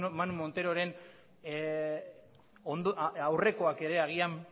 manu monteroren aurrekoak ere agian